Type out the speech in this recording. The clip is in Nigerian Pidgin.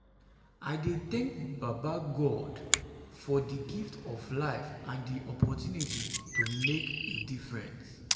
i dey thank baba god baba god for di gift of life and di opportunity to make a difference.